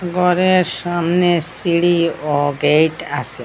গরের সামনে সিঁড়ি ও গেট আসে।